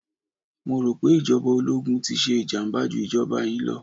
Mo rò pé ìjọba ológun ti ṣe ìjàmàbá jú ìjọba yìí lọ.